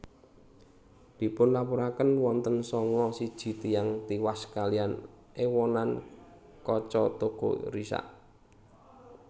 Dipunlaporaken wonten sanga siji tiyang tiwas kaliyan èwonan kaca toko risak